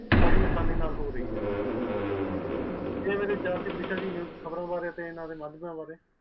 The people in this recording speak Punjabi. ਬੜੀ ਆਸਾਨੀ ਨਾਲ ਹੋ ਰਹੀ ਹੈ ਇਹ ਸੀ ਈਸ਼ਾ ਜੀ ਮੇਰੇ ਚੀਜ਼ ਖ਼ਬਰ ਬਾਰੇ